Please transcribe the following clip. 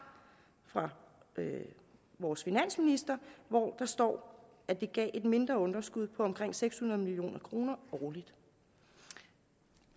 fra vores finansminister hvor der står at det gav et mindre underskud på omkring seks hundrede million kroner årligt